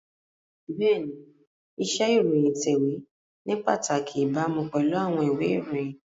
Bẹ́ẹ̀ni, iṣẹ́ ìròyìn ìtẹ̀wé ní pàtàkì ìbámu pẹ̀lú àwọn ìwé ìròyìn